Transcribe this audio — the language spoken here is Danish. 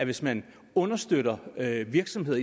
hvis man understøtter virksomheder